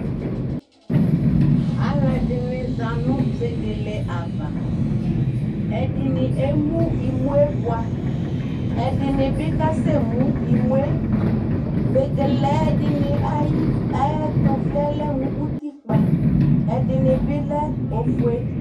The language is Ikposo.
Alu ɛdɩnɩ za nʋ vegele ava Ɛdɩnɩ emu imu yɛ bʋa, ɛdɩnɩ bɩ kasemu imu yɛ Vegele ɛdɩnɩ ayʋ ɛtʋvli yɛ lɛmʋ utikpǝ Ɛdɩnɩ bɩ lɛ ofue